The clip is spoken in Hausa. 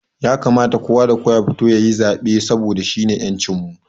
Ya kamata kowa da kowa ya fito yayi zaɓe saboda shine ƴancin mu